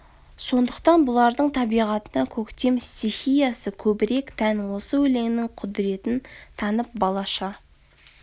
сондықтан бұлардың табиғатына көктем стихиясы көбрек тән осы өлеңнің құдіретін танып балаша